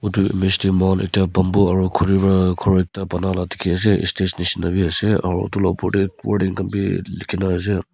etu image te moikhan bamboo aru khuri ra khor ekta bana laa dikhi ase ek stage nishe na bi ase aru etu la opor te wording khan bi likhina ase.